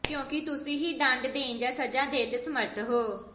ਕਿਉਂਕਿ ਤੁਸੀਂ ਹੀ ਦੰਡ ਦੇਣ ਜਾਂ ਸਜ਼ਾ ਦੇਣ ਦੇ ਸਮਰੱਥ ਹੋ